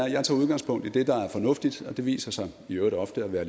jeg tager udgangspunkt i det der er fornuftigt og det viser sig i øvrigt ofte at være